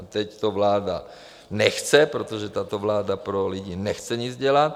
- A teď to vláda nechce, protože tato vláda pro lidi nechce nic dělat.